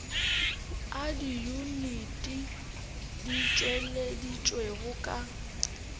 a diyuniti di tšweleditšwego ka